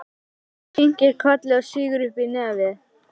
Hún kinkar kolli og sýgur upp í nefið.